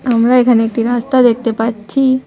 আমরা এখানে একটি রাস্তা দেখতে পাচ্ছি।